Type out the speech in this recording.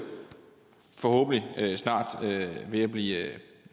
forhåbentlig snart ved at blive